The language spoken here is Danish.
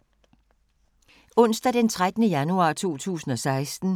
Onsdag d. 13. januar 2016